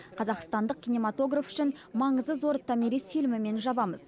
қазақстандық кинематограф үшін маңызы зор томирис фильмімен жабамыз